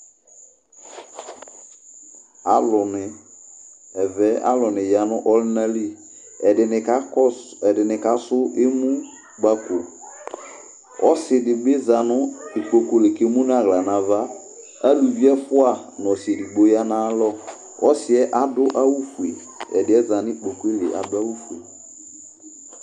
Alʋni, ɛvɛ alʋni ya n'ɔlʋna li Ɛdini ka kɔsʋ, ɛdini kasʋ emu Kpali, k'ɔsi di bi zanʋ ikpoku li k'emu n'aɣla n'ava Aluvi ɛfua n'ɔsi edigbo ya n'ayalɔ Ɔsi yɛ adʋ awʋ fue, ɛdi yɛ za n'ikpoku yɛ li adʋ awʋ fue